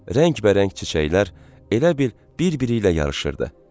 Rəngbərəng çiçəklər elə bil bir-biri ilə yarışır.